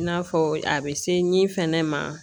I n'a fɔ a bɛ se min fɛnɛ ma